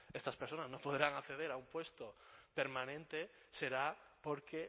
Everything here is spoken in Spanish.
estas personas no podrán acceder a un puesto permanente será porque